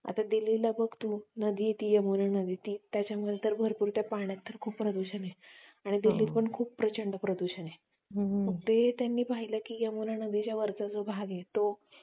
आत्ता दिल्लीला बघ तू ती यमुना नदी आहे ती नदी यमुना नदी आहे त्याच्यामध्ये त्या पाण्यामध्ये भरपूर प्रदूषण आहे आणि दिल्लीत पण खूप प्रचंड प्रदूषण आहे ते त्यांनी पाहिलं की यमुना नदीवरचा जो भाग आहे तो